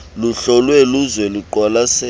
luhlolwe luze luqwalaselwe